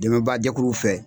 Dɛmɛbaajɛkuruw fɛ.